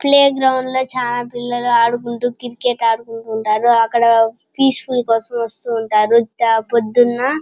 Play ground లో చాలా పిల్లలు ఆడుకుంటూ క్రికెట్ ఆడుకుంటా వుంటారు. అక్కడ పీస్ ఫుల్ కోసం వస్తూ ఉంటారు. పొద్దున --